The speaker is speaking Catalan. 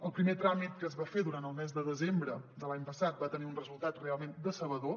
el primer tràmit que es va fer durant el mes de desembre de l’any passat va te·nir un resultat realment decebedor